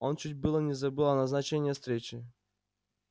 он чуть было не забыл о назначение встрече